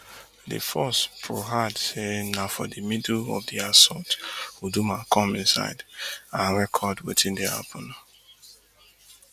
di force pro add say na for di middle of di assault uduma come inside and record wetin dey happun